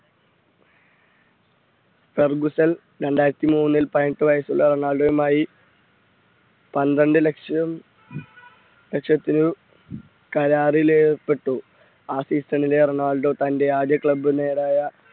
സർബസല്‍ രണ്ടായിരത്തി മൂന്നിൽ പതിനെട്ട് വയസ്സുള്ള റൊണാൾഡോയുമായി പന്ത്രണ്ട് ലക്ഷം ലക്ഷത്തിലും കരാറിൽ ഏർപ്പെട്ടു ആ season ലെ റൊണാൾഡോ തന്റെ ആദ്യ club നേരായ